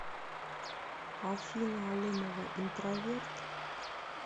афина алымова интроверт